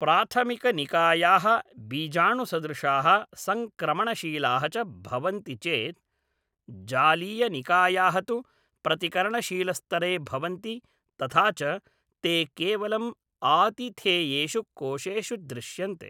प्राथमिकनिकायाः बीजाणुसदृशाः सङ्क्रमणशीलाः च भवन्ति चेत्, जालीयनिकायाः तु प्रतिकरणशीलस्तरे भवन्ति, तथा च ते केवलम् आतिथेयेषु कोशेषु दृश्यन्ते।